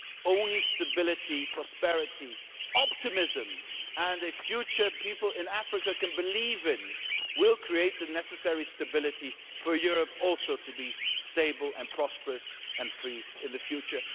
Only stability, prosperity, optimism and a future that people in Africa can believe in will create the necessary stability for Europe also to be stable, prosperous and free in the future.